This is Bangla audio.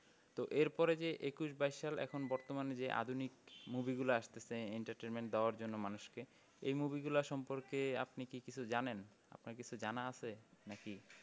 তো এর পরে যে একুশ বাইশ সাল এখন বর্তমান এ যে আধুনিক movie গুলা আসতেছে entertainment দেওয়ার জন্য মানুষকে এই movie গুলার সম্পর্কে আপনি কি কিছুই জানেন আপনার কিছু জানা আছে নাকি?